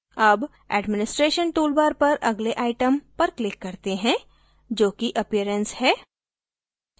अब administration toolbar पर अगले item पर click करते हैं जोकि appearance है